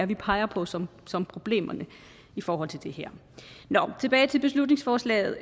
vi peger på som som problemerne i forhold til det her nå tilbage til beslutningsforslaget